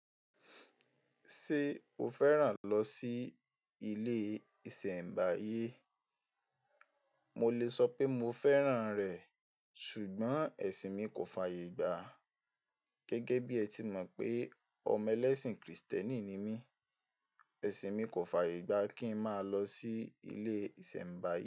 Ṣé o fẹ́ràn lọ sí ilé ìsẹ̀ǹbáyé? Mo lè sọ pé mo fẹ́ràn rẹ̀ ṣùgbọ́n ẹ̀sìn mi kò fàyè gbá. Gẹ́gẹ́ bí ẹ ti mọ̀ pé ọmọ ẹlẹ́sìn Krìstẹ́nì ni mí, ẹ̀sìn mi kò fàyè gbá kí ń máa lọ sí ilé ìsẹ̀ǹbáyé.